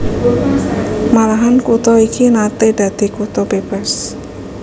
Malahan kutha iki naté dadi kutha bébas